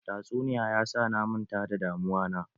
Tatsuniya ya sa na manta da damuwa na.